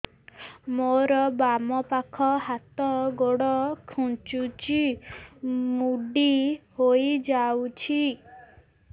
ମୋର ବାମ ପାଖ ହାତ ଗୋଡ ଖାଁଚୁଛି ମୁଡି ହେଇ ଯାଉଛି